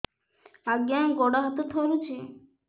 ଆଜ୍ଞା ଗୋଡ଼ ହାତ ଥରୁଛି